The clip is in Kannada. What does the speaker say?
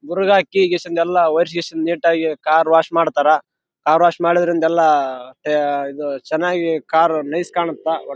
ಕಾರಿನ ಡೋರ್ ಓಪನ್ ಆಗಿದೆ ಮತ್ತೆ ಒಂದು ಕಪ್ಪು ಕುಚ್ರಿ ಕಾಣಿಸಲು ಬರುತ್ತಿದೆ.